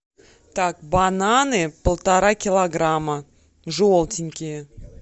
так бананы полтора килограмма желтенькие